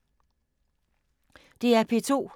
DR P2